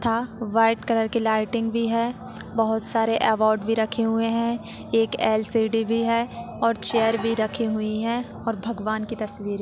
--था white colour की lighting भी है बहुत सारे एवोर्ड भी रखे हुए है एक एल_सी_डी भी है और चेयर भी रखी हुई है और भगवान की तस्वीर--